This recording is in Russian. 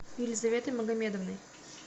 елизаветой магомедовной